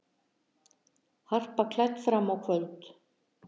Harpa klædd fram á kvöld